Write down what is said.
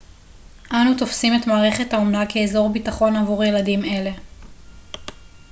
אנו תופסים את מערכת האומנה כאזור ביטחון עבור ילדים אלה